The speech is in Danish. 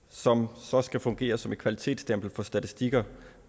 som så skal fungere som et kvalitetsstempel for statistikker